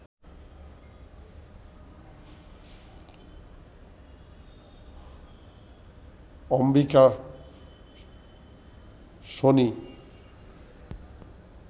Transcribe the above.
Ambika Sony